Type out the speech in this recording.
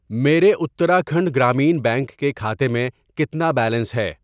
میرے اتراکھنڈ گرامین بینک کے کھاتے میں کتنا بیلنس ہے؟